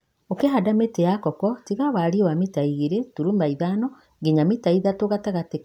ũkĩhanda mĩtĩ ya koko tiga warie wa mita igĩrĩ turuma ithano nginya mita ithatũ gatagatĩ ka mĩkaro na gatagatĩ ka mĩtĩ.